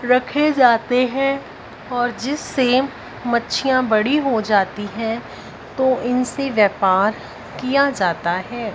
रखे जाते है और जिससे मच्छियां बड़ी हो जाती है तो इनसे व्यापार किया जाता है।